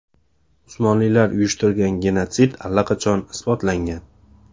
Usmonlilar uyushtirgan genotsid allaqachon isbotlangan.